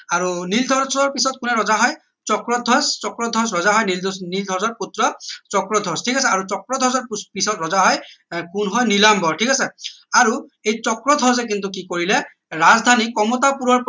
আৰু নীলধ্বজৰ পিছত কোনে ৰজা হয় চক্ৰধ্বজ চক্ৰধ্বজ ৰজা হয় নীলধ্বজৰ পুত্ৰ চক্ৰধ্বজ ঠিক আছে আৰু চক্ৰধ্বজৰ পিছত ৰজা হয় কোন হয় নীলাম্বৰ ঠিক আছে আৰু এই চক্ৰধ্বজে কিন্তু কি কৰিলে ৰাজধানী কমতাপুৰৰ